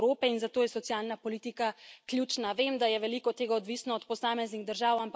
Demografske spremembe so največji izziv Evrope in zato je socialna politika ključna.